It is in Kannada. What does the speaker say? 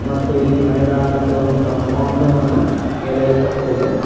ಮತ್ತು ಇಲ್ಲಿ ಮೈದಾನಕ್ಕೆ ಒಂದು ಕಾಂಪೌಂಡ್ ವನ್ನು ಎಳೆಯಲ್ ಪಟ್ಟಿದೆ.